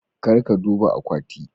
Kar ka duba akwati.